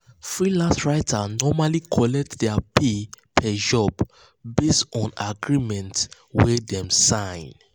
freelance writers normally collect their pay per job based on agreement wey dem sign.